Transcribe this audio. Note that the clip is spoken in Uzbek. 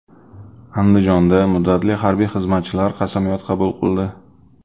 Andijonda muddatli harbiy xizmatchilar qasamyod qabul qildi .